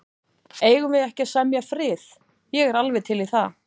Eigum við ekki að semja frið. ég er alveg til í það.